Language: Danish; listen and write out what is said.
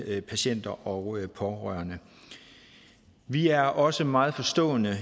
af patienter og pårørende vi er også meget forstående